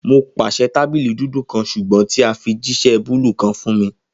Mo paṣẹ tabili dudu kan ṣugbọn ti a fi jiṣẹ buluu kan fun mi